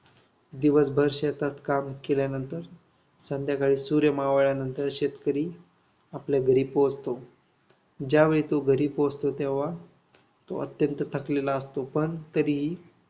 दिवसभर शेतात काम केल्यानंतर संध्याकाळी सूर्य मावळल्यानंतर शेतकरी आपल्या घरी पोहोचतो. ज्या वेळी तो घरी पोहोचतो, तेव्हा तो अत्यंत थकलेला असतो. पण तरीही